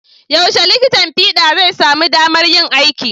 Yaushe likitan fiɗa zai samu damar yin aiki?